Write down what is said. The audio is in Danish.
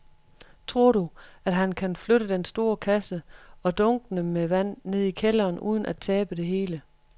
Tror du, at han kan flytte den store kasse og dunkene med vand ned i kælderen uden at tabe det hele?